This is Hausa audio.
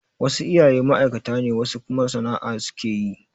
Wasu iyayen ma'aikata ne wasu kuma sana'a su ke yi.